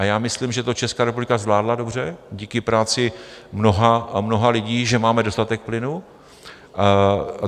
A já myslím, že to Česká republika zvládla dobře díky práci mnoha a mnoha lidí, že máme dostatek plynu.